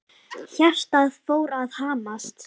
Hjartað fór að hamast.